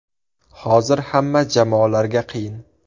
Hozir hamma jamoalarga qiyin.